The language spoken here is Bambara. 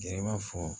Yɛrɛ b'a fɔ